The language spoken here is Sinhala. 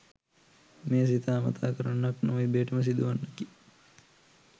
මෙය සිතා මතා කරන්නක් නොව ඉබේටම සිදුවන්නකි.